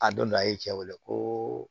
A donn a ye cɛ wele ko